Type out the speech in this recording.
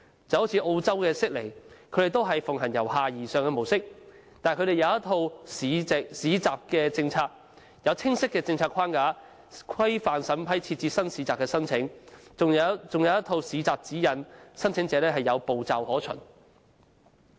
正如澳洲悉尼也是奉行由下而上的模式，但他們有一套《市集政策》，有清晰的政策框架規範審批新市集的申請，還有一套《市集指引》，讓申請者有步驟可循。